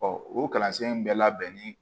o kalansen in bɛ labɛnni